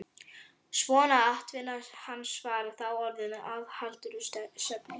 Svo að atvinna hans var þá orðin aðhlátursefni.